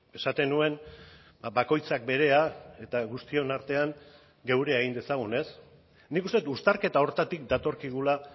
esaten nuen bakoitzak berea eta guztion artean geurea egin dezagun ez nik uste dut uztarketa horretatik datorkigula